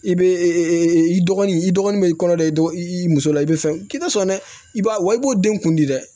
I bɛ i dɔgɔnin i dɔgɔnin bɛ i kɔnɔ dɛ dogo i muso la i bɛ fɛn k'i tɛ sɔn dɛ i b'a wa i b'o den kundi dɛ